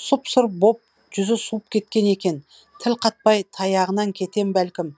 сұп сұр боп жүзі суып кеткен екен тіл қатпай таяғынан кетем бәлкім